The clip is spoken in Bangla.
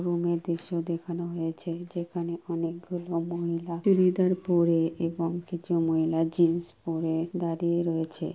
রুমের দৃশ্য দেখানো হয়েছে যেখানে অনেক গুলো মহিলা চুরিদার পরে এবং কিছু মহিলা জিন্স পরে দাঁড়িয়ে রয়েছে।